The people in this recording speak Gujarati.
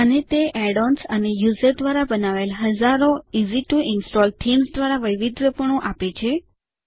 અને તે add ઓએનએસ અને યુઝર દ્વારા બનાવાયેલ હજારો easy to ઇન્સ્ટોલ થીમ્સ દ્વારા વૈવિધ્યપણું આપે છે